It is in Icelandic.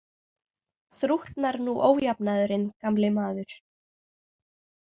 Þrútnar nú ójafnaðurinn, gamli maður.